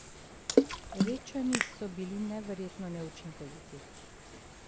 Rečani so bili neverjetno neučinkoviti.